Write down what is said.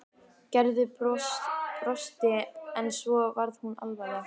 Gerður brosti en svo varð hún alvarleg.